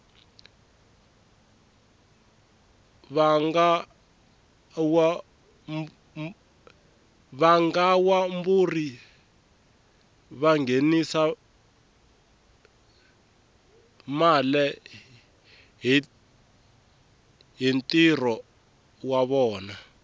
vangawamburi vangenisa male hhintiro wavona